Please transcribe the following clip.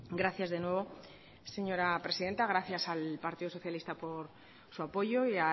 gracias de nuevo señora presidenta gracias al partido socialista por su apoyo y